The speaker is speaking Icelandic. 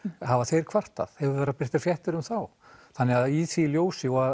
hafa þeir kvartað hafa verið birtar fréttir um þá þannig að í því ljósi og